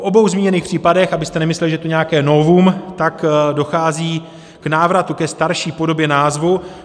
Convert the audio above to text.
V obou zmíněných případech, abyste nemysleli, že je to nějaké novum, dochází k návratu ke starší podobě názvu.